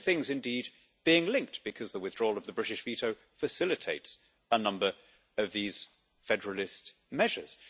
The two things indeed being linked, because the withdrawal of the British veto facilitates a number of these federalist measures.